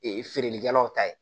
Ee feerelikɛlaw ta ye